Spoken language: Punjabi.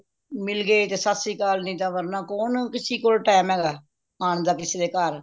ਮਿਲ ਗਏ ਤੇ ਸਤਿ ਸ਼੍ਰੀਅਕਾਲ ਨਹੀਂ ਤਾ ਵਰਨਾ ਕੌਣ ਕਿਸੀ ਕੋਲ time ਹੈਗਾ ਆਣ ਦਾ ਕਿਸੀ ਦੇ ਘਰ